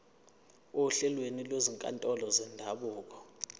ohlelweni lwezinkantolo zendabuko